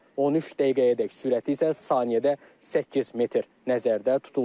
13 dəqiqəyədək sürəti isə saniyədə 8 metr nəzərdə tutulur.